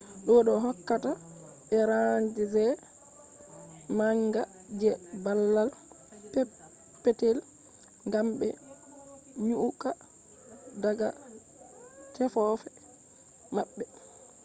do do hokka be range manga je babal peppetel gam be nyukka daga tefofe mabbe